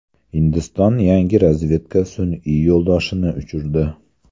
Hindiston yangi razvedka sun’iy yo‘ldoshini uchirdi.